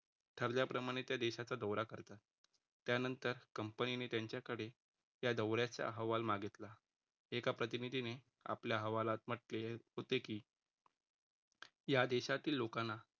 ठरल्याप्रमाणे त्या देशाचा दौरा करतात. त्यानंतर कंपनीने त्यांच्याकडे या दौऱ्याच्या अहवाल मागितला. एका प्रतिनिधीने आपल्या हवालात म्हटले होते, की या देशातील लोकांना